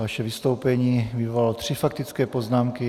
Vaše vystoupení vyvolalo tři faktické poznámky.